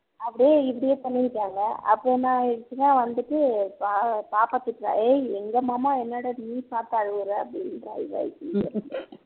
அப்படியே இப்படியே பண்ணீருக்காங்க அப்பரம் என்ன ஆகிருச்சுன்னா வந்துட்டு பா பாப்பா திட்டுறா ஏய் எங்க மாமாவ என்னடா நீ பாத்து அழுவுற அப்படின்றா இவ இங்க